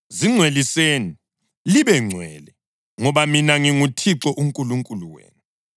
Zingcweliseni libengcwele ngoba mina nginguThixo uNkulunkulu wenu.